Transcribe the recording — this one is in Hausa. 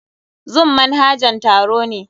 Zoom manhajan taro ne.